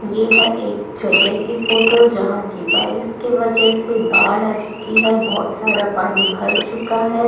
ये है एक जगह की फोटो है जहां की बारिश के वजह से बाढ़ आ चुकी है बहुत सारा पानी भर चुका है।